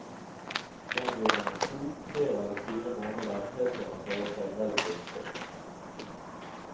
Der blir han i to, tre eller fire måneder, helt til han føler seg relativt frisk.